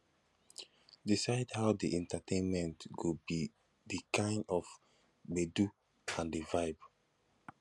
decide how di entertainment go be di kind of gbedu and di vibe